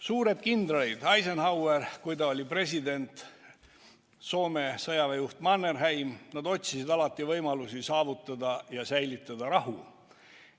Suured kindralid – Eisenhower, kui ta oli president, ja Soome sõjaväe juht Mannerheim – otsisid alati võimalusi saavutada ja säilitada rahu.